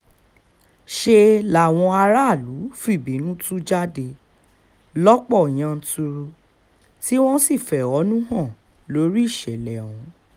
ṣe làwọn aráàlú fìbínú tú jáde lọ́pọ̀ yanturu tí wọ́n sì fẹ̀hónú hàn lórí ìṣẹ̀lẹ̀ ọ̀hún